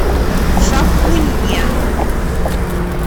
шахунье